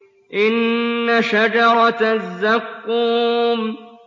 إِنَّ شَجَرَتَ الزَّقُّومِ